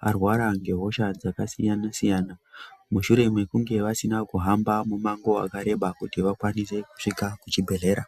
varwara ngehosha dzakasiyana-siyana mushure mekunge vasina kuhamba mumango wakareba kuti vakwanise kusvika kuchibhedhlera.